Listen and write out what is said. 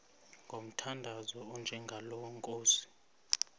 ngomthandazo onjengalo nkosi